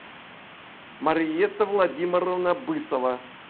мариетта владимировна бысова